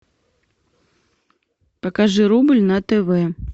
покажи рубль на тв